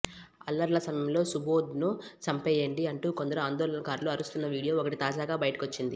అల్లర్ల సమయంలో సుబోధ్ను చంపేయ్యండి అంటూ కొందరు ఆందోళనకారులు అరుస్తున్న వీడియో ఒకటి తాజాగా బయటకొచ్చింది